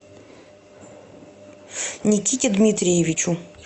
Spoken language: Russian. никите дмитриевичу